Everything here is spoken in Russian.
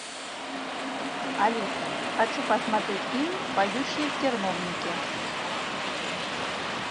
алиса хочу посмотреть фильм поющие в терновнике